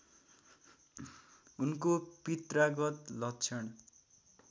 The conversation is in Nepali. उनको पित्रागत लक्षण